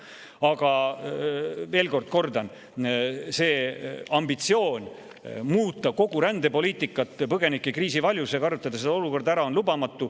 Aga veel kord kordan: see ambitsioon muuta kogu rändepoliitikat põgenikekriisi varjus ja kasutada seda olukorda ära on lubamatu.